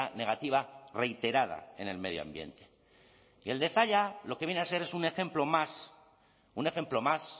negativa reiterada en el medio ambiente y el de zalla lo que viene a ser es un ejemplo más un ejemplo más